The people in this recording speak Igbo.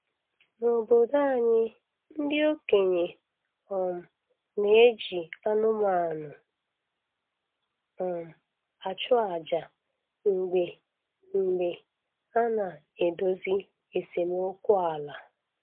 N'obodo anyị, ndị okenye um na-eji anụmanụ um achụ aja mgbe mgbe a na-edozi esemokwu ala